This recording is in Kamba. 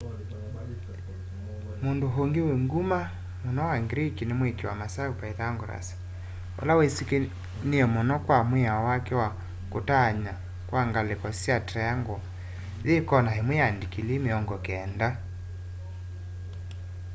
mũndũ ũngĩ wĩ ngũma mũno wa greek nĩ mwĩkĩ wa masavũ pythagoras ũla wĩsĩkanĩe mũno kwa mwĩao wake wa kũtaanya kwa ngalĩko sya triangle yĩ kona ĩmwe yĩ ndikilii mĩongo kenda